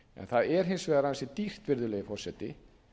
það er hins vegar ansi dýrt virðulegi forseti